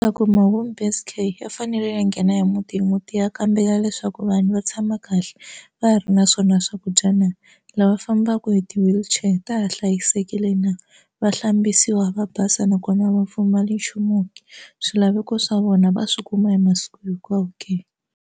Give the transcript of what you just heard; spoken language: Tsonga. Home based care ya fanele ya nghena hi muti hi muti ya kambela leswaku vanhu va tshama kahle va ha ri na swona swakudya na lava fambaka hi ti-wheelchair ta ha hlayisekile na va hlambisiwa va basa nakona a va pfumali nchumu ke swilaveko swa vona va swi kuma hi masiku hinkwawo ke.